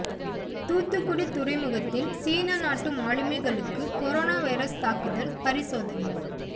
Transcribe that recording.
தூத்துக்குடி துறைமுகத்தில் சீன நாட்டு மாலுமிகளுக்கு கோரோனா வைரஸ் தாக்குதல் பரிசோதனை